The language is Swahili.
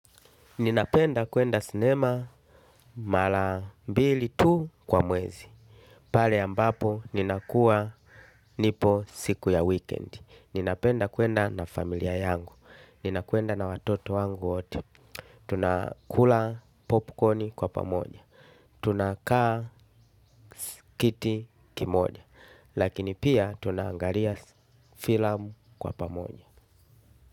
Ninapenda kuenda sinema mara mbili tu kwa mwezi. Pale ambapo ninakuwa nipo siku ya weekend. Ninapenda kuenda na familia yangu. Ninakuenda na watoto wangu wote. Tunakula popcorn kwa pamoja. Tunakaa kiti kimoja. Lakini pia tunaangalia filamu kwa pamoja.